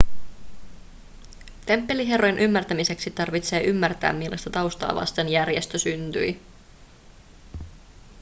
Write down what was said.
temppeliherrojen ymmärtämiseksi tarvitsee ymmärtää millaista taustaa vasten järjestö syntyi